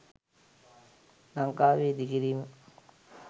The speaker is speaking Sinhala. ලංකාවේ ඉදි කිරීම